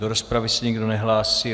Do rozpravy se nikdo nehlásí.